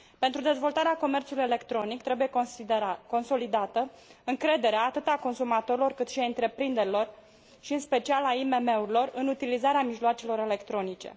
Pentru dezvoltarea comerțului electronic, trebuie consolidată încrederea, atât a consumatorilor, cât și a întreprinderilor și, în special, a IMM urilor, în utilizarea mijloacelor electronice.